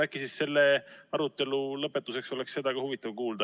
Äkki oleks selle arutelu lõpetuseks seda ka huvitav kuulda.